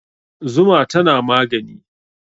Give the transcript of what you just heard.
Zuma tana magani